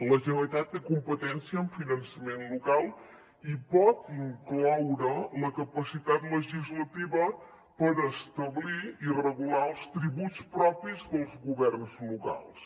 la generalitat té competència en finançament local i pot incloure la capacitat legislativa per establir i regular els tributs propis dels governs locals